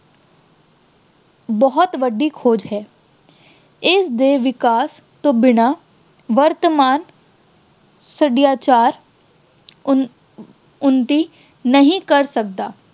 ਇੱਕ ਬਹੁਤ ਵੱਡੀ ਖੋਜ ਹੈ। ਇਸਦੇ ਵਿਕਾਸ ਤੋਂ ਬਿਨ੍ਹਾਂ ਵਰਤਮਾਨ ਸੱਭਿਆਚਾਰ, ਉੱਨ ਅਹ ਉੱਨਤੀ ਨਹੀਂ ਕਰ ਸਕਦਾ।